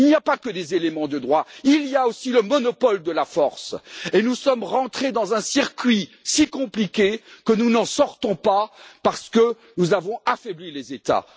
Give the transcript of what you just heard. Il n'y a pas que des éléments de droit, il y a aussi le monopole de la force, et nous sommes rentrés dans un circuit si compliqué que nous n'en sortons pas parce que nous avons affaibli les États.